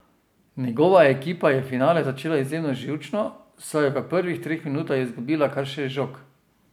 Njegova ekipa je finale začela izjemno živčno, saj je v prvih treh minutah izgubila kar šest žog!